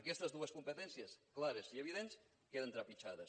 aquestes dues competències clares i evidents queden trepitjades